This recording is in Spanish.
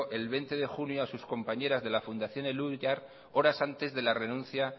el veinte de junio a sus compañeras de la fundación elhuyar horas antes de la renuncia